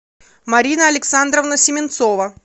марина александровна семенцова